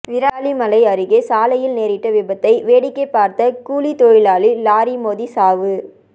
விராலிமலை அருகே சாலையில் நேரிட்ட விபத்தை வேடிக்கை பாா்த்த கூலித்தொழிலாளி லாரி மோதி சாவு